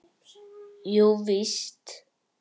Jú, víst.